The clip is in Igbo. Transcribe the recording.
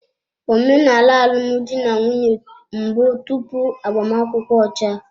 Omenala alụmdi na nwunye mbụ tupu agbamakwụkwọ ọcha.